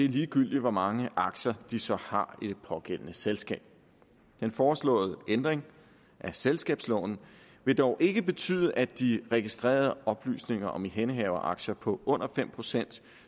ligegyldigt hvor mange aktier de så har i det pågældende selskab den foreslåede ændring af selskabsloven vil dog ikke betyde at de registrerede oplysninger om ihændehaveraktier på under fem procent